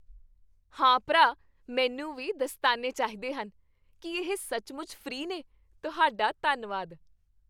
ਹਾਂ ਭਰਾ, ਮੈਨੂੰ ਵੀ ਦਸਤਾਨੇ ਚਾਹੀਦੇ ਹਨ। ਕੀ ਇਹ ਸੱਚਮੁੱਚ ਫ੍ਰੀ ਨੇ? ਤੁਹਾਡਾ ਧੰਨਵਾਦ!